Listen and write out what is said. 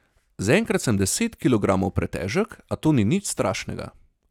Zaenkrat sem deset kilogramov pretežek, a to ni nič strašnega.